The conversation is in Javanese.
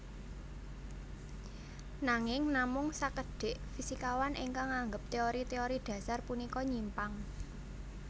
Nanging namung sakedhik fisikawan ingkang nganggep téori téori dhasar punika nyimpang